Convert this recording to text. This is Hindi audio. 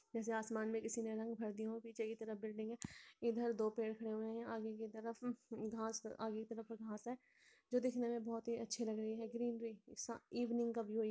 जैसे आसमान में किसी ने रंग भर दिए हों पीछे की तरफ बिल्डिंग है | इधर दो पेड़ खड़े हुए हैं आगे की तरफ घास आगे की तरफ घास है जो दिखने में बहुत ही अच्छी लग रही है ग्रीनरी इवनिंग का व्यू --